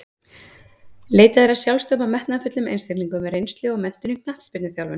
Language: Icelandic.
Leitað er að sjálfstæðum og metnaðarfullum einstaklingum með reynslu og menntun í knattspyrnuþjálfun.